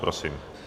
Prosím.